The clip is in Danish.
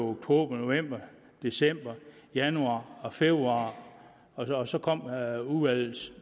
oktober november december januar og februar og så kom udvalget